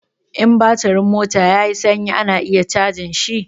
In batirin mota ya yi sanyi ana iya cajin shi.